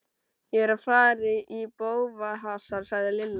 Ég er að fara í bófahasar sagði Lilla.